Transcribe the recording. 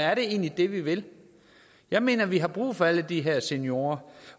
er det egentlig det vi vil jeg mener at vi har brug for alle de her seniorer